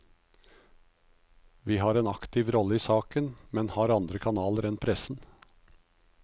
Vi har en aktiv rolle i saken, men har andre kanaler enn pressen.